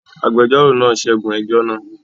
Agbẹjọ́rò náà ṣẹ́gun ẹjọ́ náà?